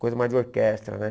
Coisa mais de orquestra, né?